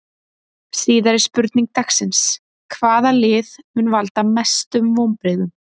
Síðari spurning dagsins: Hvaða lið mun valda mestum vonbrigðum?